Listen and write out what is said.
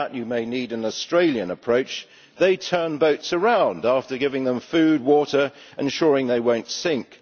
For that you may need an Australian approach they turn boats around after giving them food, water and ensuring they will not sink.